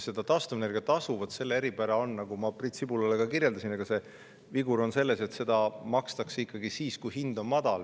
Ja taastuvenergia tasu eripära, nagu ma Priit Sibulale ka kirjeldasin – see vigur on selline –, on see, et seda makstakse ikkagi siis, kui hind on madal.